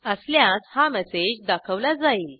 असल्यास हा मेसेज दाखवला जाईल